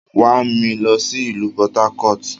Wa mi lọ si ilu Port-Harcourt!